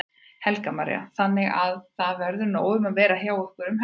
Helga María: Þannig að það verður nóg um að vera hjá ykkur um helgina?